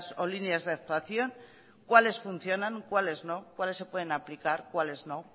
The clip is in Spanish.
o líneas de actuación cuáles funcionan cuáles no cuáles se pueden aplicar cuáles no